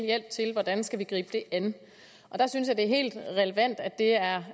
hjælp til hvordan de skal gribe an jeg synes det er helt relevant at det er